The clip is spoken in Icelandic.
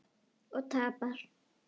Og tapar.